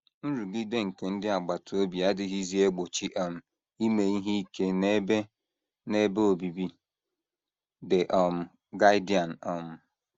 “ Nrụgide nke ndị agbata obi adịghịzi egbochi um ime ihe ike n’ebe n’ebe obibi. ” The um Guardian um.